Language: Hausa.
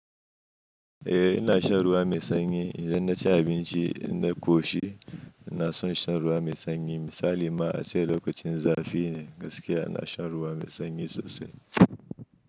Eh ina shan ruwa mai sanyi idan na ci abinci na ƙoshi ina so in shan ruwa mai sanyi. Misali ma ace okacin zafi ne gaskiya ina shan ruwa mai sanyi sosai.